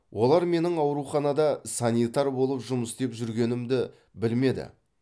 олар менің ауруханада санитар болып жұмыс істеп жүргенімді білмеді